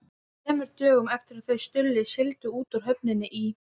Þremur dögum eftir að þau Stulli sigldu út úr höfninni í